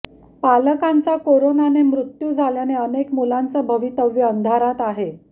पालकांचा करोनाने मृत्यू झाल्याने अनेक मुलांचं भवितव्य अंधारात आहे